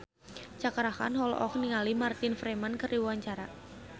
Cakra Khan olohok ningali Martin Freeman keur diwawancara